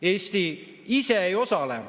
Eesti ise ei osale.